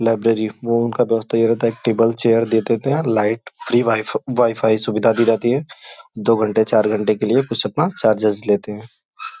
Library वो उनका व्यवस्था रहता है। टेबल चेयर दे देते हैं। लाइट फ्री वाई वाईफाई सुविधा दी जाती है। दो घंटे चार घंटे के लिए कुछ अपना चर्जिस लेते हैं।